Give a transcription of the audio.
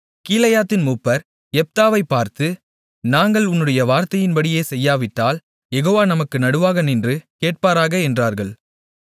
கீலேயாத்தின் மூப்பர் யெப்தாவைப் பார்த்து நாங்கள் உன்னுடைய வார்த்தையின்படியே செய்யாவிட்டால் யெகோவா நமக்கு நடுவாக நின்று கேட்பாராக என்றார்கள்